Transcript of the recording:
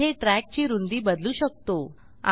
जिथे trackची रूंदी बदलू शकतो